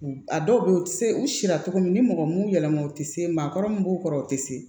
A dɔw be yen u ti se u si latogo min ni mɔgɔ mun yɛlɛmama u te se maakɔrɔ mun b'u kɔrɔ u te se